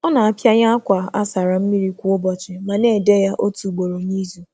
Ọ na-akpọnye akwa kwa ụbọchị, ma um na-eyi uwe n’ịnyịnya uwe n’ịnyịnya um ísì ugboro um otu n’izu.